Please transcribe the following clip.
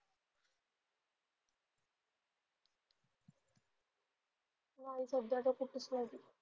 नाही सध्या आता कुठेच नाही.